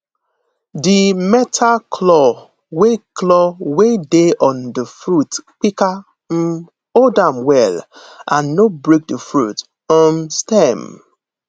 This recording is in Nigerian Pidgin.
di metal claw wey claw wey dey on the fruit pika um hold am well and no break the fruit um stem